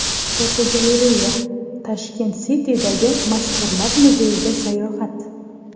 Fotogalereya: Tashkent City’dagi mashhurlar muzeyiga sayohat.